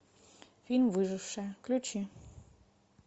фильм выжившая включи